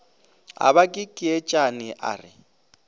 a ba kekeetšane a re